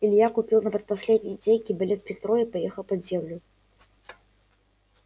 илья купил на предпоследние деньги билет в метро и поехал под землю